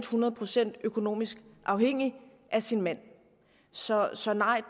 hundrede procent økonomisk afhængig af sin mand så så